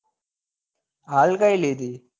હાલ કઈ લીધી